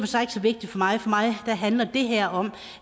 sig ikke så vigtigt for mig for mig handler det her om